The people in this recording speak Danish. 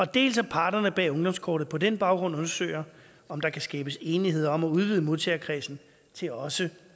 dels at parterne bag ungdomskortet på den baggrund undersøger om der kan skabes enighed om at udvide modtagerkredsen til også